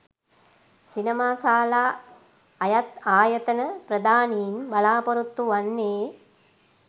සිනමාශාලා අයත් ආයතන ප්‍රධානීන් බලාපොරොත්තු වන්නේ